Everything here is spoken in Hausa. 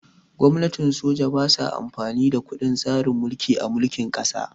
Gwamnatin soja ba sa amfani da kundin tsarin mulki a mulkin ƙasa